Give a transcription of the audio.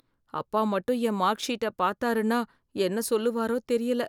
அப்பா மட்டும் என் மார்க் ஷீட்ட பார்த்தாருன்னா என்ன சொல்லுவாரோ தெரியல.